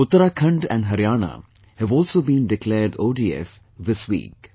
Uttarakhand and Haryana have also been declared ODF, this week